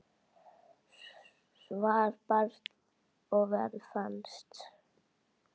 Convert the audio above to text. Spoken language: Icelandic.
Svar barst og verð fannst.